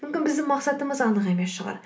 мүмкін біздің мақсатымыз анық емес шығар